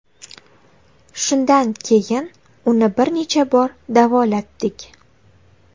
Shundan keyin uni bir necha bor davolatdik.